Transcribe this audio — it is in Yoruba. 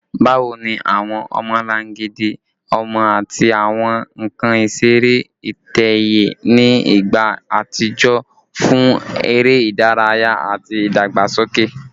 Bawo ni awọn ọmọlangidi ọmọ ati awọn nkan isere itẹ-ẹiyẹ ni igba atijọ fun ere idaraya ati idagbasoke?